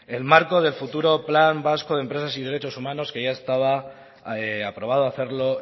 el marco del futuro plan vasco de empresas y derechos humanos que ya estaba aprobado hacerlo